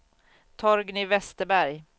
Torgny Westerberg